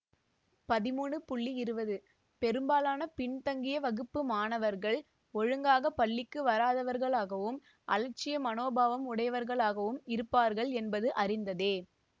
பதிமூனு இருபது பெரும்பாலான பின்தங்கிய வகுப்பு மாணவர்கள் ஒழுங்காக பள்ளிக்கு வராதவர்களாகவும் அலட்சிய மனோபாவம் உடையவர்களாகவும் இருப்பார்கள் என்பது அறிந்ததே